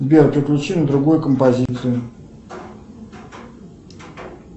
сбер переключи на другую композицию